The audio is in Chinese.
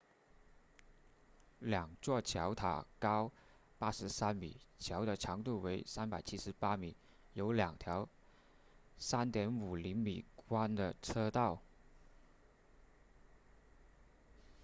两座桥塔高83米桥的长度为378米有两条 3.50 米宽的车道